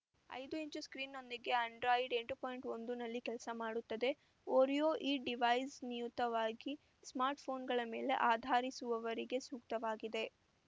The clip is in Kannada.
ಐದುಇಂಚು ಸ್ಕ್ರೀನ್‌ನೊಂದಿಗೆ ಆಂಡ್ರಾಯಿಡ್‌ ಎಂಟು ಪಾಯಿಂಟ್ ಒಂದನಲ್ಲಿ ಕೆಲಸ ಮಾಡುತ್ತದೆ ಓರಿಯೊ ಈ ಡಿವೈಸ್‌ ನಿಯುತವಾಗಿ ಸ್ಮಾರ್ಟ್‌ಫೋನ್‌ಗಳ ಮೇಲೆ ಆಧಾರಿಸುವವರಿಗೆ ಸೂಕ್ತವಾಗಿದೆ